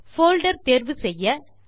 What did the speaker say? folder தேர்வு செய்ய